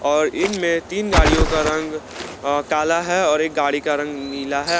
और इनमें तीन गाड़ियों का रंग काला है और एक गाड़ी का रंग नीला है।